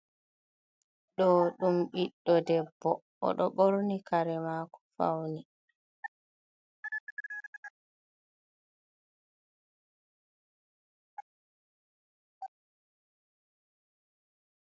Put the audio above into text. Ɗo'o ɗum biɗɗo debbo, o ɗo ɓorni kare maako fawni.